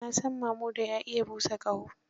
Na san Mamuda ya iya busa ƙaho.